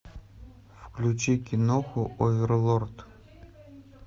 включи киноху оверлорд